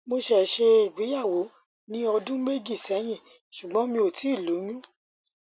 mo ṣe ṣe ìgbéyàwó ní ọdún méjì sẹyìn ṣùgbọn mi ò tíì lóyún